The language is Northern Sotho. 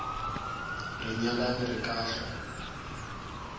re nyalane re ka hlwa